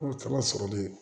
caman sɔrɔlen